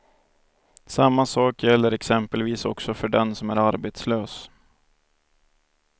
Samma sak gäller exempelvis också för den som är arbetslös.